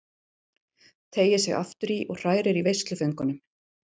Teygir sig aftur í og hrærir í veisluföngunum.